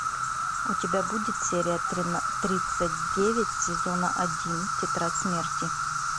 у тебя будет серия тридцать девять сезона один тетрадь смерти